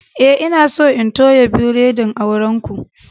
Eh, n'na so in toya biredin auren ku.